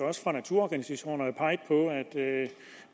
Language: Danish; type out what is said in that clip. også fra naturorganisationerne peget på at